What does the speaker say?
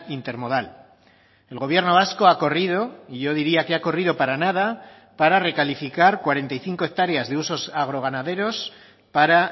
intermodal el gobierno vasco ha corrido y yo diría que ha corrido para nada para recalificar cuarenta y cinco hectáreas de usos agroganaderos para